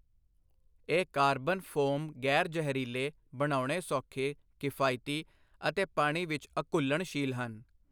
ਇਹ carbon foam ਗ਼ੈਰ ਜ਼ਹਿਰੀਲੇ, ਬਣਾਉਣੇ ਸੌਖੇ, ਕਿਫਾਇਤੀ, ਅਤੇ ਪਾਣੀ ਵਿੱਚ ਅਘੁਲਣਸ਼ੀਲ ਹਨ।